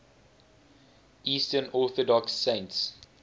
eastern orthodox saints